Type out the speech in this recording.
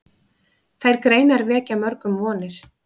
Þær greinar vekja mörgum vonir.